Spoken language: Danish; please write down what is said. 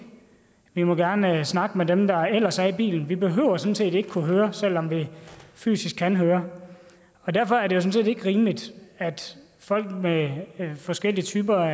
vi må gerne snakke med dem der ellers er i bilen vi behøver sådan set ikke at kunne høre selv om vi fysisk kan høre derfor er det sådan set ikke rimeligt at folk med forskellige typer